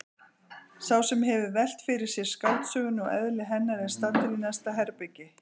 Sá sem hefur velt fyrir sér skáldsögunni og eðli hennar er staddur í næsta herbergi.